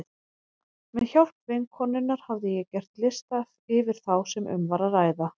Með hjálp vinkonunnar hafði ég gert lista yfir þá sem um var að ræða.